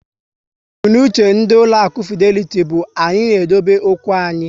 Mbunuche ndị ụlọaku Fideliti bụ "Anyị na-edobe okwu anyị"